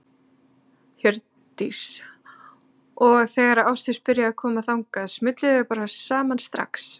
Hjördís: Og þegar að Ásdís byrjaði að koma hingað, smullu þið bara saman strax?